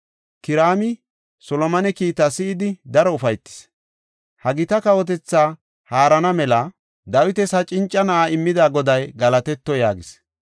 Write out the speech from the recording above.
Kiraami Solomone kiitaa si7idi daro ufaytis; “Ha gita kawotethaa haarana mela Dawitas ha cinca na7aa immida Goday galatetto” yaagis.